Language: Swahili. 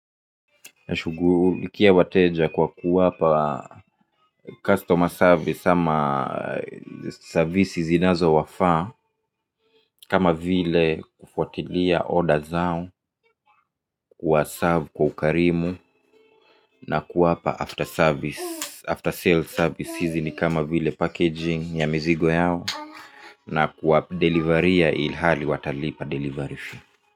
Na shughulikia wateja kwa kuwapa customer service ama service zinazo wafaa kama vile kufuatilia order zao kuwa serve kwa ukarimu na kuwapa after service, after sale service hizinikama vile packaging ya mizigo yao na kuwapa deliveriya ilhali watalipa delivery.